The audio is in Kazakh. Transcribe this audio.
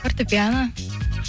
фортепиано